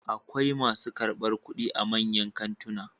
Akwai masu karɓar kuɗi a manyan kantuna